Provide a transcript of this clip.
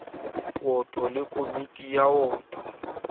woto le komiti ya woto